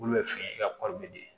Olu bɛ fɛ i ka